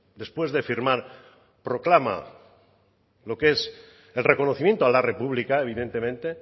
después de firmar proclama lo que es el reconocimiento a la república evidentemente